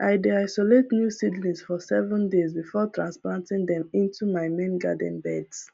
i dey isolate new seedlings for seven days before transplanting them into my main garden beds